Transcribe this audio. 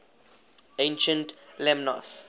ancient lemnos